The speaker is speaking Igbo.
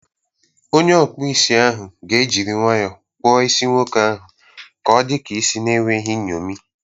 Onye ọkpụ isi ahụ ga ejiri nwayọọ kpụọ isi nwoke ahụ ka ọdika isi na enweghị nyomi.